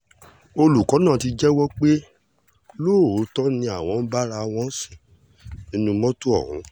olùkọ́ náà ti jẹ́wọ́ pé lóòótọ́ làwọn méjèèjì ń bára àwọn sùn nínú mọ́tò ọ̀hún